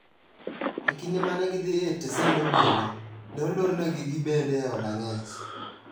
E kinde mane gidhi e tesend obila, ne olornegi gibende e od ang'ech.